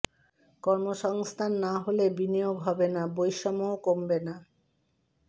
কর্মসংস্থান না হলে বিনিয়োগ হবে না বৈষম্যও কমবে না